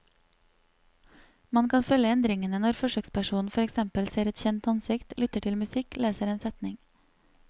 Man kan følge endringene når forsøkspersonen for eksempel ser et kjent ansikt, lytter til musikk, leser en setning.